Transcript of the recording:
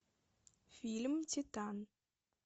фильм титан